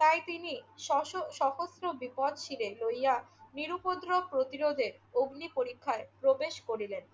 তাই তিনি স্ব স্ব সহস্র বিপদ শিরে লইয়া নিরুপদ্রব প্রতিরোধের অগ্নিপরীক্ষায় প্রবেশ করিলেন।